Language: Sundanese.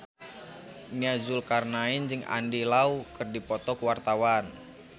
Nia Zulkarnaen jeung Andy Lau keur dipoto ku wartawan